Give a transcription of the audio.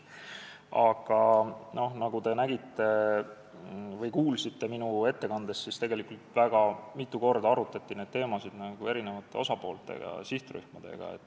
Aga nagu te kuulsite minu ettekandest, tegelikult väga mitu korda arutati neid teemasid eri osapoolte ja sihtrühmadega.